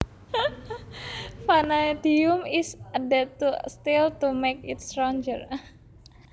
Vanadium is added to steel to make it stronger